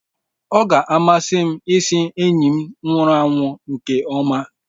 Ọ ga-amasị m ịsị enyi nwụrụ anwụ nke ọma.